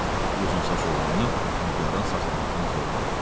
Bu uzunsaç oğlanı Nigaran saxlamaqdan zövq alır.